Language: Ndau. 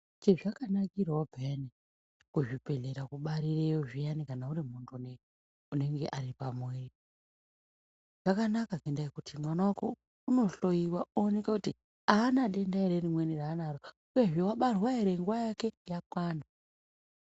Chezvakanakirawo peyani kuzvibhedhlera kubarireyo zviyani kana uri muntu unenge une pamwiri zvakanaka ngenda yokuti mwana unohloyiwa oneka kuti aana denda ere rimweni raanaro uyehe wabarwa ere nguwa yake yakwana.